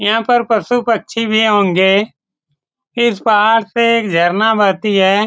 याहा पर पशु-पक्षी भी होंगे इस पहाड़ से एक झरना बहती है ।